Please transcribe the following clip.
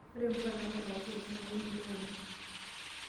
Ore mpuka naatipikaki kule na kemelok oleng'.